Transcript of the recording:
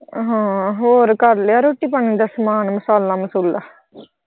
ਹਾਂ ਹੋਰ ਕਰਲਿਆ ਰੋਟੀ ਪਾਣੀ ਦਾ ਸਮਾਨ ਮਸਾਲਾ ਮਸੂਲਾ